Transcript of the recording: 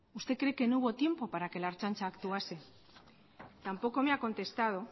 usted cree que no hubo tiempo para que la ertzaintza actuase tampoco me ha contestado